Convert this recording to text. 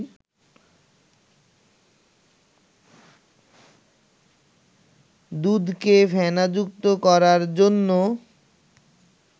দুধকে ফেনাযুক্ত করার জন্য